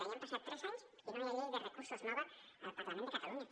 i ja han passat tres anys i no hi ha una llei de recursos nova al parlament de catalunya